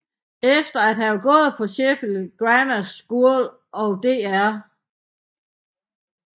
Efter at have gået på Sheffield Grammar School og Dr